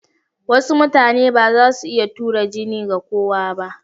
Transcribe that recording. Wasu mutane ba za su iya tura jini ga kowa ba.